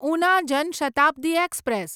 Una Jan Shatabdi express